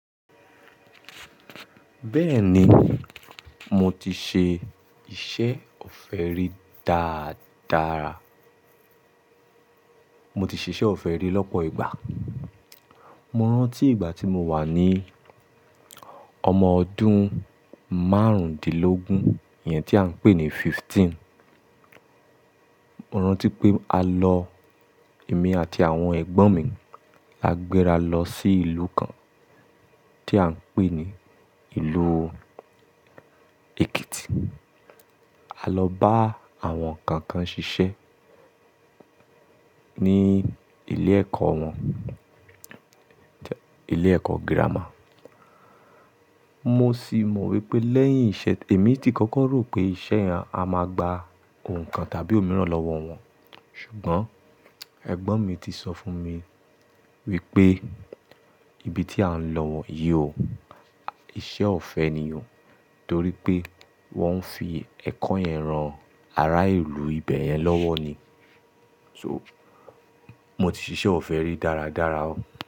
Bẹ́ẹ̀ni, mo ti ṣe iṣẹ́ ọ̀fẹ́ rí dáadára. Mo ti ṣe iṣẹ́ ọ̀fẹ́ rí lọ́pọ̀ ìgbà. Mo rántí ìgbà tí mo wà ní ọmọ ọdún márùndínlógún iyẹn tí à ń pè ní fifteen. Mo rántí pé a lọ, èmi àti àwọn ẹ̀gbọ́n mi. A gbéra lọ sí ìlú kan tí à ń pè ní ìlú Èkìtì. A lọ bá àwọn kankan ṣiṣẹ́ ní ilé ẹ̀kọ́ wọn. Ilé ẹ̀kọ́ gírámà. Mo sì mọ̀ wípé lẹ́yìn ìṣe, èmi ti kọ́kọ́ rò pé iṣẹ́ yẹn a máa gba òǹkan tàbí òmíràn lọ́wọ́ wọn. Ṣùgbọ́n ẹ̀gbọ́n mi ti sọ fún mi wípé ìbí tí à ń lọ wọ̀ yìí ò, iṣẹ́ ọ̀fẹ́ ni o. Torí pé wọ́n ń fi ẹ̀kọ́ yẹn rán ara ìlú ibẹ̀ yẹn lọ́wọ́ ni. So, mo ti ṣe iṣẹ́ ọ̀fẹ́ rí dáadára o.